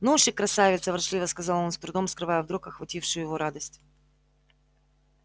ну уж и красавица ворчливо сказал он с трудом скрывая вдруг охватившую его радость